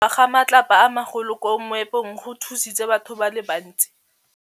Go wa ga matlapa a magolo ko moepong go tshositse batho ba le bantsi.